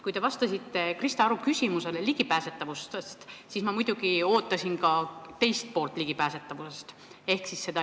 Kui te vastasite Krista Aru küsimusele ligipääsetavusest, siis ma muidugi ootasin vastust ka ligipääsetavuse teisele poolele.